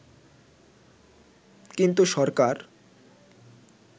কিন্তু সরকার